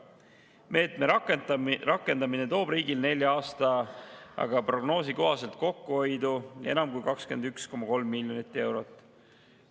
Meetme rakendamine toob riigile nelja aastaga prognoosi kohaselt kokkuhoidu enam kui 21,3 miljonit eurot.